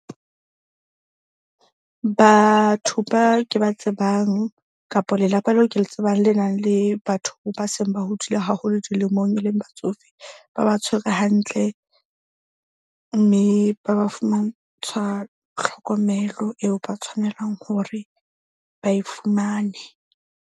Batho ba ke ba tsebang kapa lelapa leo ke le tsebang le nang le batho ba seng ba hodile haholo dilemong e leng batsofe, ba ba tshwere hantle mme ba ba fumantshwa tlhokomelo eo ba tshwanelang hore ba e fumane.